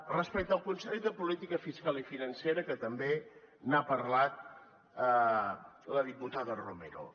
respecte al consell de política fiscal i financera que també n’ha parlat la diputada romero